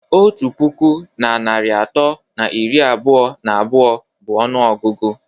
Otu puku na narị atọ na iri abụọ na abụọ bụ ọnụọgụgụ